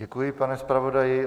Děkuji, pane zpravodaji.